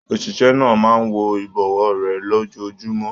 Oṣiṣẹ náà máa n wọ ibọwọ rẹ lójoojúmọ́.